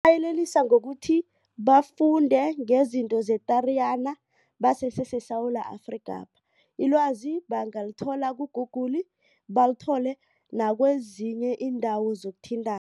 Ngingabayelelisa ngokuthi bafunde ngezinto ze-Tariyana baseseseSewula Afrika. Ilwazi bangalithola ku-google, balithole nakwezinye iindawo zokuthintana.